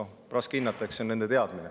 Noh, raske hinnata, eks see on nende teadmine.